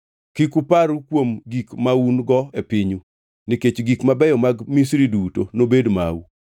Kik uparru kuom gik maun-go e pinyu, nikech gik mabeyo mag Misri duto nobed mau.”